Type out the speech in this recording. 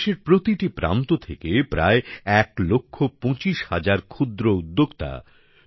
দেশের প্রতিটি প্রান্ত থেকে প্রায় ১ লাখ ২৫ হাজার ক্ষুদ্র উদ্যোক্তা